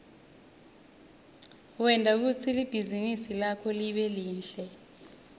wente kutsi libhizinisi lakho libe lihle